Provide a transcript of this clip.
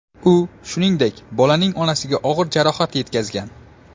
U, shuningdek, bolaning onasiga og‘ir jarohat yetkazgan.